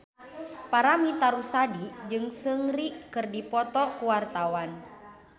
Paramitha Rusady jeung Seungri keur dipoto ku wartawan